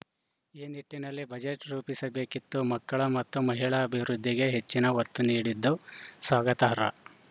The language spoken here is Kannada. ಈ ನಿಟ್ಟಿನಲ್ಲಿ ಬಜೆಟ್‌ ರೂಪಿಸಬೇಕಿತ್ತು ಮಕ್ಕಳ ಮತ್ತು ಮಹಿಳಾ ಅಭಿವೃದ್ಧಿಗೆ ಹೆಚ್ಚಿನ ಒತ್ತು ನೀಡಿದ್ದು ಸ್ವಾಗತಾರ್ಹ